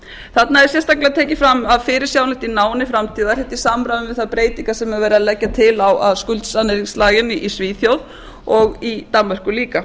þarna er sérstaklega tekið fram að fyrirsjáanlegt í náinni framtíð og er þetta í samræmi við þær breytingar sem verið er að leggja til á skulda í svíþjóð og danmörku líka